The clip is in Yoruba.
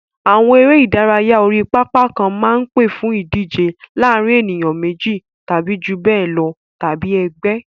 Àwọn eré ìdárayá orí pápá kan máa ń pè fún ìdíje láàárín ènìyàn méjì tàbí jù bẹ́ẹ̀ lọ tàbí ẹgbẹ́.